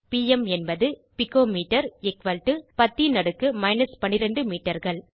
PM என்பது pico metre 10 ன் அடுக்கு மைனஸ் 12 மீட்டர்கள்